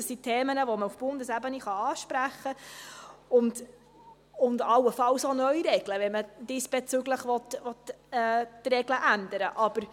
Es sind Themen, die man auf Bundesebene ansprechen und allenfalls neu regeln kann, wenn man diesbezüglich die Regeln ändern will.